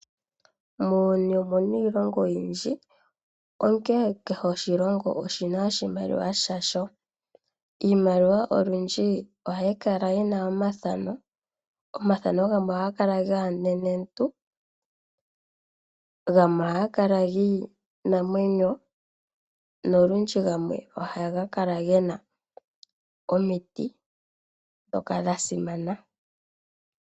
Muuyuni omu na iilongo oyindji, onkene kehe oshilongo oshi na oshimaliwa yasho. Iimaliwa olundji ohayi kala yi na omathano. Omathano gamwe ohaga kala gaanenentu, gamwe ohaga kala giinamwenyo nolundji gamwe ohaga kala ge na omiti ndhoka dha simana.